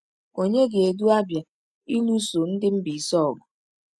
Ònye ga-edu Abia ịlụso ndị Mbaise ọgụ?